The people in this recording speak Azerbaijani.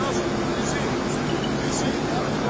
Düşür, düşür, düşür.